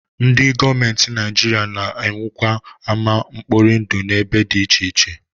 Ndị gọọmenti Naijiria na-ewukwa ama mkpori ndụ n'ebe dị iche iche